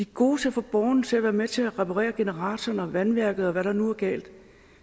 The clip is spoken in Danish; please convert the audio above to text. gode til at få borgerne til at være med til at reparere generatoren og vandværket og hvad der nu er galt